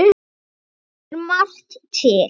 Þar kemur margt til.